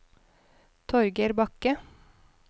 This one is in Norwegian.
Torger Bakke